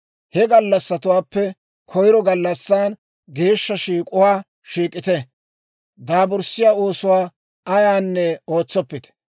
He gallassatuwaappe koyiro gallassan geeshsha shiik'uwaa shiik'ite; daaburssiyaa oosuwaa ayaanne ootsoppite.